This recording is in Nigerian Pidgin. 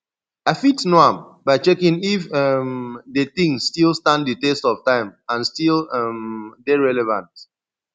i fit know am by checking if um di thing still stand di test of time and still um dey relevant